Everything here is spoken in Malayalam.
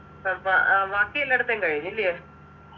അപ്പൊ ആഹ് ബാക്കി എല്ലായിടത്തെയും കഴിഞ്ഞില്ല്യേ